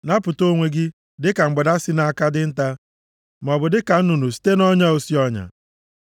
Napụta onwe gị, dịka mgbada site nʼaka dinta, maọbụ dịka nnụnụ site nʼọnya osi ọnya.